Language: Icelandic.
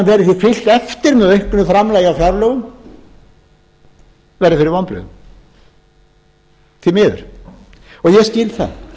með auknu framlagi á fjárlögum verði fyrir vonbrigðum því miður og ég skil það